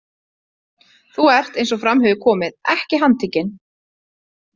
Þú ert eins og fram hefur komið ekki handtekinn.